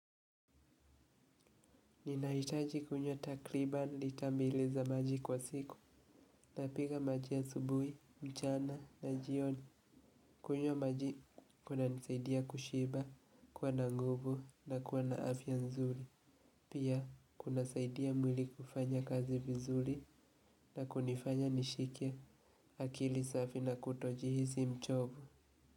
Ninahitaji kunywa takribani lita mbili za maji kwa siku, ntapiga maji asubuhi, mchana na jioni. Kunywa maji kuna nisaidia kushiba kuwa na nguvu na kuwa na afya nzuri. Pia kuna saidia mwili kufanya kazi vizuri na kunifanya nishike akili safi na kutojihisi mchovu.